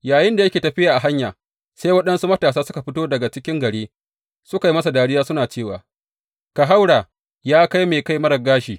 Yayinda yake tafiya a hanya, sai waɗansu matasa suka fito daga cikin gari, suka yi masa dariya suna cewa, Ka haura, ya kai mai kai marar gashi!